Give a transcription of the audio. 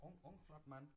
Ung ung flot mand